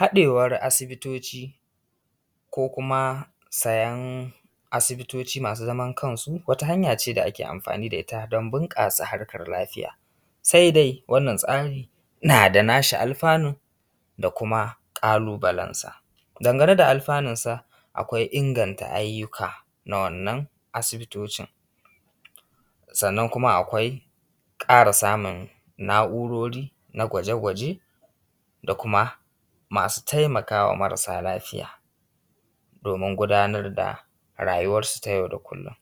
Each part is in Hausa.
haɗewar asibitoci ko kuma sayen asibitoci masu zaman kansu wata hanya ce da ake amfani da ita don bunƙasa hanyar lafiya asibitoci masu zaman kansu wata hanya ce da ake amfani da ita don bunƙasa hanyar lafiya da kuma ƙalubalensa dangane da alɸanunsa akwai inganta ayyuka na wannan asibitocin sannan kuma akwai ƙara samun na’urori na gwaje gwaje da kuma masu taimaka wa marasa lafiya domin gudanar da rayuwarsu ta yau da kullum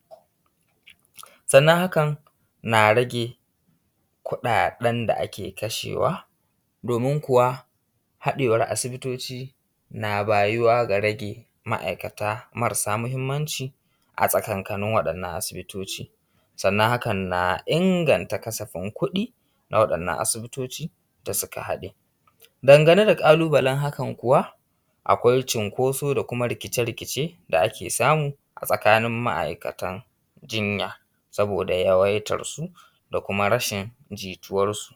sannan hakan na rage kuɗaɗen da ake kashewa domin kuwa haɗewar asibitoci na bayuwa ga rage ma’aikata marasa muhimmanci a tsakankanin waɗannan asibitoci sannan hakan na inganta kasafin kuɗi na waɗannan asibitoci da suka haɗe dangane da ƙalubalen hakan kuwa akwai cinkoso da kuma rikice rikice da ake samu a tsakanin ma’aikatan jinya saboda yawaitarsu da kuma rashin jituwarsu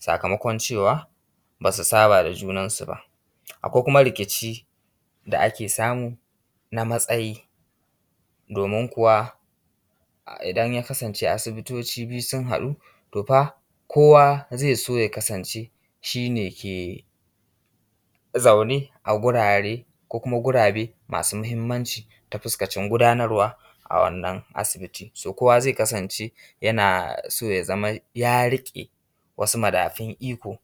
sakamakon cewa ba su saba da junansu ba akwai kuma rikici da ake samu na matsayi domin kuwa idan ya kasance asibitoci sun haɗu to fa kowa zai so ya kasance shi ne ke zaune a gurare ko kuma gurabe masu muhimmanci ta fuskacin gudanarwa a wannan asibiti so ko:wa: zai kasance yana so ya zama ya riƙe wasu madafun iko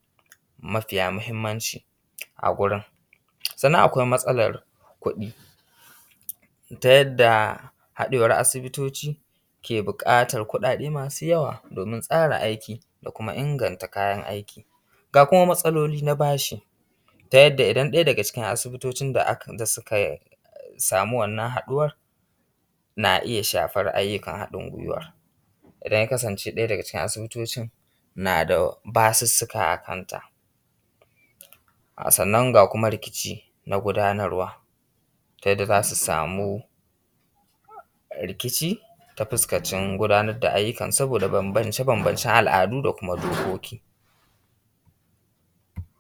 mafiya muhimmanci a gurin sannan akwai matsalar kuɗi ta yadda haɗewar asibitoci ke buƙatar kuɗaɗe masu yawa domin tsara kayan aiki da kuma inganta kayan aiki ga kuma matsaloli na bashi ta yadda idan ɗaya daga cikin asibitocin da suka samu wannan haɗuwar na iya shafar ayyukan haɗin gwiwa idan ya kasance ɗaya daga cikin asibitocin na da basussuka a kanta sannan ga kuma rikici na gudanarwa ta yadda za su samu rikici ta fuskacin gudanar da ayyukan saboda bambance bambancen al’adu da kuma dokoki